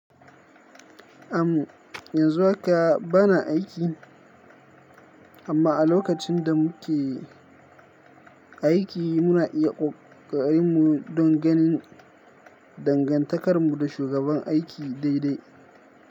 Am yanzu haka bana aiki. Amma a lokacin da muke aiki muna iya kokarin mu don ganin dangantakar mu da shugaban aiki dai dai.